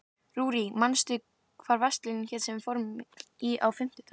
Rúrí, manstu hvað verslunin hét sem við fórum í á fimmtudaginn?